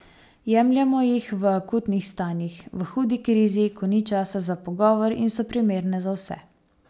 Jemljemo jih v akutnih stanjih, v hudi krizi, ko ni časa za pogovor, in so primerne za vse.